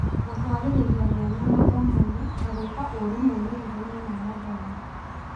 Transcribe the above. Gũtũarĩrĩra mĩanya mathomo-inĩ na gũĩka ũru moimĩrĩrainĩ ma mathomo